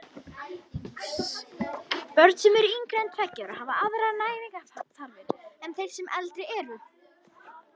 Börn sem eru yngri en tveggja ára hafa aðrar næringarþarfir en þeir sem eldri eru.